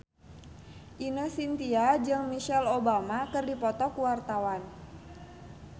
Ine Shintya jeung Michelle Obama keur dipoto ku wartawan